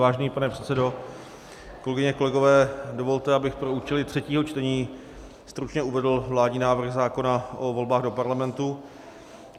Vážený pane předsedo, kolegyně, kolegové, dovolte, abych pro účely třetího čtení stručně uvedl vládní návrh zákona o volbách do Parlamentu.